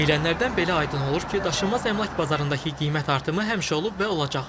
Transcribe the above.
Deyilənlərdən belə aydın olur ki, daşınmaz əmlak bazarındakı qiymət artımı həmişə olub və olacaq.